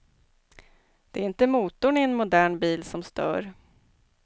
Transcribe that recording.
Det är inte motorn i en modern bil som stör.